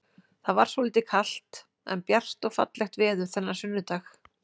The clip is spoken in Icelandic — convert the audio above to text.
Það var svolítið kalt, en bjart og fallegt veður þennan sunnudag.